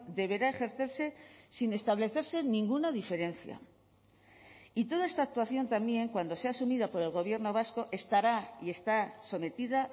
deberá ejercerse sin establecerse ninguna diferencia y toda esta actuación también cuando sea asumida por el gobierno vasco estará y está sometida